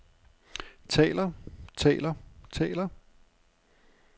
taler taler taler